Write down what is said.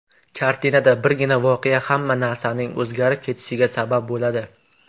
Kartinada birgina voqea hamma narsaning o‘zgarib ketishiga sabab bo‘ladi.